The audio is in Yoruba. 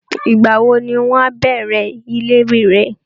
Ìgbàwo ni wọn a bẹ̀rẹ ilé rírẹ́?